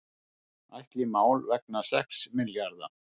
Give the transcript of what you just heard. Ætla í mál vegna sex milljarða